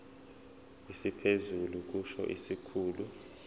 esiphezulu kusho isikhulu